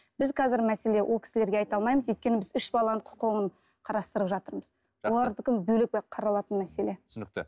біз қазір мәселе ол кісілерге айта алмаймыз өйткені біз үш баланың құқығын қарастырып жатырмыз олардікін бөлек қаралатын мәселе түсінікті